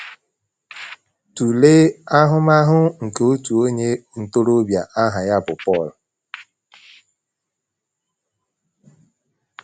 Tụlee ahụmahụ nke otu onye ntorobịa aha ya bụ Paul.